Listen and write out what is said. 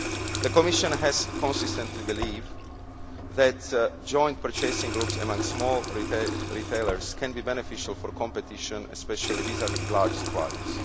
The Commission has consistently believed that joint purchasing groups amongst small retailers can be beneficial for competition, especially vis vis large suppliers.